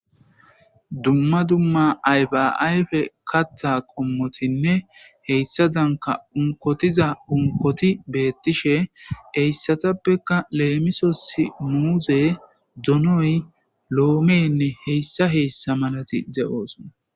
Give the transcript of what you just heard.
Dumma dumma aybaayfe katha kommotinne heyssa danka unkotiza unkoti beettishe heyssatappekka leemisosi muuze donoy loomeenne heyssa heyssa malati ze7ooson.